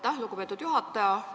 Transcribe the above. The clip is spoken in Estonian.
Aitäh, lugupeetud juhataja!